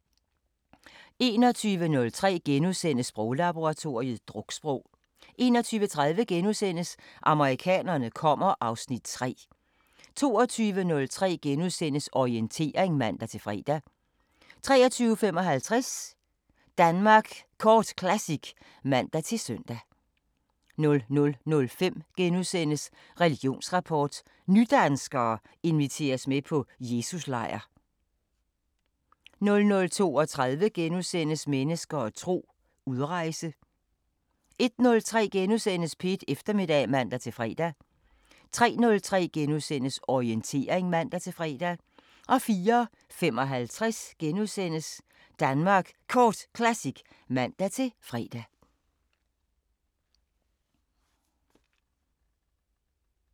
21:03: Sproglaboratoriet: Druksprog * 21:30: Amerikanerne kommer (Afs. 3)* 22:03: Orientering *(man-fre) 23:55: Danmark Kort Classic *(man-søn) 00:05: Religionsrapport: Nydanskere inviteres med på Jesus-lejr * 00:32: Mennesker og tro: Udrejse * 01:03: P1 Eftermiddag *(man-fre) 03:03: Orientering *(man-fre) 04:55: Danmark Kort Classic *(man-fre)